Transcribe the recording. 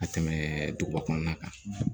Ka tɛmɛ duguba kɔnɔna kan